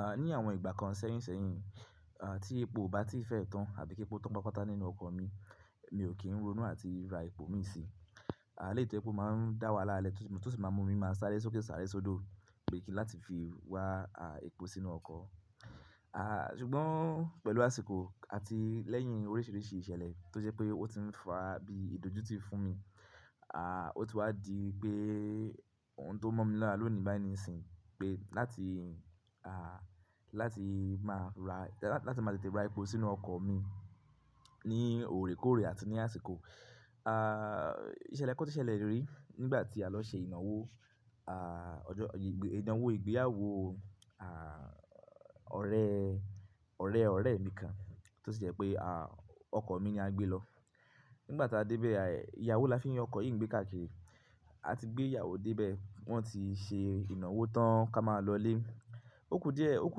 À, ní àwọn ìgbà kan sẹ́yìn sẹ́yìn, à, tí epo ò bá ti fẹ́ tán àbí kí epo tó ń pápátá nínú ọkọ̀ mi, mi ò kí ń ronú àti ra epo mi si. À, lèyi to jẹ pe ó máa ń dá wà lá lẹ́, tó sì máa mú mi máa sáré sókè sáré sódò, pé kí láti fi wá, à, epo sínú ọkọ̀. À, ṣùgbọ́n pẹ̀lú àsìkò àti lẹ́yìn oríṣìíríṣìí ìṣẹ̀lẹ̀ tó jẹ́ pé ó ti ń fa bí ìdójútì fún mi. À, ó ti wá di pé òun tó mọ̀ mi lọ́la ló ni báyìí nisin pé láti, à, láti máa ra, lá-láti máa tètè ra epo sínú ọkọ̀ mi ní òòrekòore àti ní àsìkò. À, ìṣẹ̀lẹ̀ kan ti ṣẹlẹ̀ rí nígbà tí a lọ ṣe ìnáwó, à, ọjọ́, ìnawò ìgbéyàwó, à, ọ̀rẹ́, ọ̀rẹ́ ọ̀rẹ́ mi kan tó sì jẹ́ pé, à, ọkọ̀ mi ni a gbé lọ. Nígbà tí a dé bẹ́ẹ̀, ìyàwó là fi ń ọkọ̀ yìí ń gbé káàkiri. A ti gbé ìyàwó dé bẹ́ẹ̀, wọ́n ti ṣe ìnáwó tán ká máa lọlé. Ó kù díẹ̀, ó kù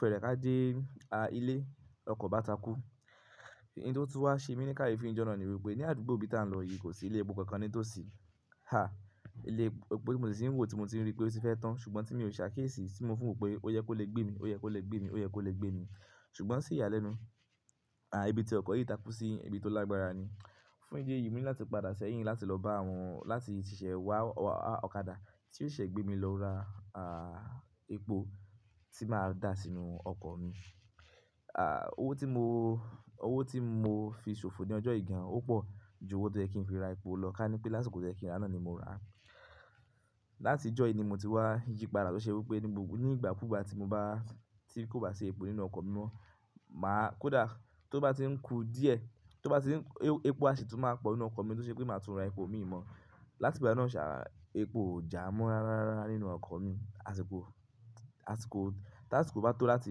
fẹ́rẹ ká dé, a, ilé, lọkọ̀ bá takú. Ei tó tú wá ṣe mi ní ká ye fi ni jọ̀ná na ni wípé ní àdúgbò bí tá ń lọ yìí kò sí ilé epo kankan ni tósì, ha! Ilé epo ti mò ti sì ń wò tí mo ti rí pé ó ti fẹ́ tán, ṣùgbọ́n tí mi ò ṣàkíyèsí, tí mo fi n wò pé ó yẹ kó lè gbé mi, ó yẹ kó lè gbé mi, ó yẹ kó lè gbé mi. Ṣùgbọ́n sí ìyálẹ́nu, à, ibi tí ọkọ̀ yìí takú sí ibi tó lágbára ni. Fún ìdí èyí, mi ní láti padà sẹ́yìn láti lọ bá àwọn, láti ṣẹ wá ọkàdà tí yóò ṣè gbé mi lọ ra, à, epo tí máa dà sínú ọkọ̀ mi. À, owó tí mo, owó tí mo fi ṣòfò ní ọjọ́ yi gan, ó pọ̀ ju owó to yẹ kí n fi ra epo lọ, ká ní pé lásìkò tó yẹ kin ra náni mo rà á. Láti ìjọ́ yìí ni mo ti wá yípadà tó ṣe wípé ní gbogbo, ní ìgbà kú bá ti mo bá, tí kò bá ṣe epo nínú ọkọ̀ mi mọ́, màá, kódà tó bá ti ń kù díẹ̀, tó bá ti ń, epo a sì tún máa pọ̀ nínú ọkọ̀ mi tó ṣe pé màá tún ra epo mi mọ́. Láti ìgbà náà ṣà, epo ò jámọ̀ rárá rárá nínú ọkọ̀ mi. Àsìkò, àsìkò, tí àsìkò bá tó láti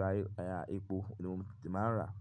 ra, à, epo, ni mo ti máa ń rà á.